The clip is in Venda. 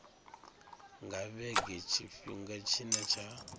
nga vhege tshifhinga tshine tsha